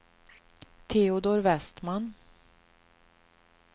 Teodor Westman